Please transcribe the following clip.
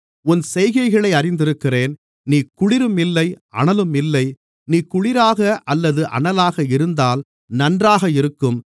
உன் செய்கைகளை அறிந்திருக்கிறேன் நீ குளிரும் இல்லை அனலும் இல்லை நீ குளிராக அல்லது அனலாக இருந்தால் நன்றாக இருக்கும்